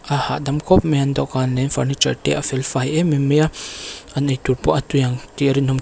a hahdam khawp mai a an dawhkan leh furniture te a felfai em em mai a an eitur pawh a tui ang tih a rinawm.